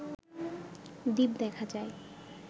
দ্বীপ দেখা যায়